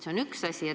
See on üks küsimus.